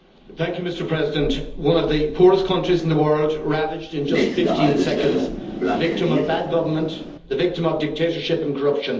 Mr President, one of the poorest countries in the world ravaged in just 15 seconds, the victim of bad government, the victim of dictatorship and corruption.